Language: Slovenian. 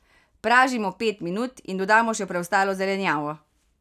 Pražimo pet minut in dodamo še preostalo zelenjavo.